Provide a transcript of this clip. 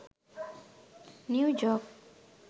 new joke